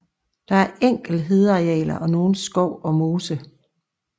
Der er enkelte hedearealer og nogen skov og mose